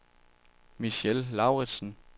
Michelle Lauritsen